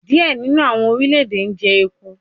Diẹ ninu awọn orilẹ-ede jẹ eku